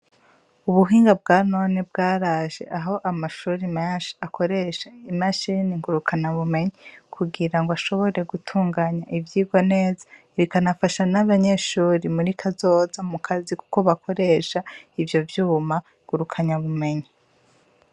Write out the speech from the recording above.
Ubuhinga bwa none bwaraje aho amashure menshi akoresha imashini ngurukana bumenyi kugirango ashobore gutunganya ivyigwa neza, bikanafasha n'abanyeshure muri kazoza mu kazi kuko bakoresha ivyo vyuma ngurukana bumenyi.